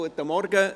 Guten Morgen.